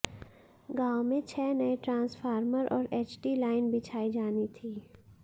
गांव में छह नए ट्रांसफॉर्मर और एचटी लाइन बिछाई जानी थी